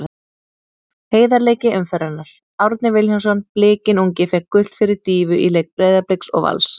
Heiðarleiki umferðarinnar: Árni Vilhjálmsson Blikinn ungi fékk gult fyrir dýfu í leik Breiðabliks og Vals.